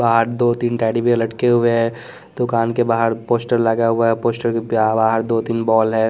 बाहर दो तीन टेडी बियर लट के हुए हैं दुकान के बाहर पोस्टर लगा हुआ है पोस्टर के बाहर दो तीन बॉल है।